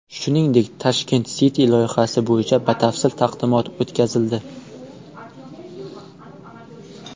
Shuningdek, Tashkent City loyihasi bo‘yicha batafsil taqdimot o‘tkazildi.